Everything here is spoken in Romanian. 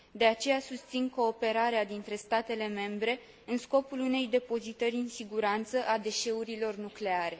De aceea, susțin cooperarea dintre statele membre, în scopul unei depozitări în siguranță a deșeurilor nucleare.